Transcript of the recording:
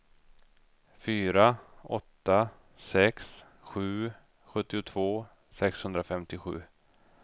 fyra åtta sex sju sjuttiotvå sexhundrafemtiosju